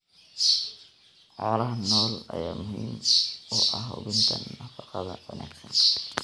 Xoolaha nool ayaa muhiim u ah hubinta nafaqada wanaagsan.